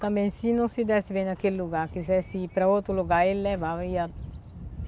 Também, se não se desse bem naquele lugar, quisesse ir para outro lugar, ele levava e ia.